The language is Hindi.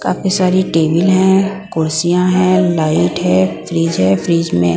काफी सारी टेबल हैं कुर्सियां है लाइट है फ्रिज है फ्रिज में--